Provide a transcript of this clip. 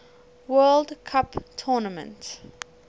world cup tournament